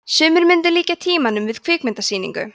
sumir myndu líkja tímanum við kvikmyndasýningu